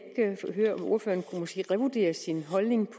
måske revurdere sin holdning